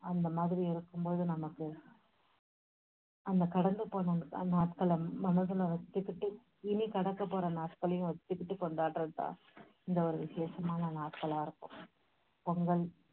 அந்த மாதிரி இருக்கும் போது நமக்கு அந்த கடந்து போன அந்த நாட்களை மனசுல வெச்சுக்கிட்டு, இனி கடக்கப்போற நாட்களையும் வெச்சுக்கிட்டு கொண்டாடுறது தான் இந்த ஒரு விஷேஷமான நாட்களா இருக்கும். பொங்கல்